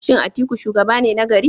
Shin Atiku shugaba ne nagari?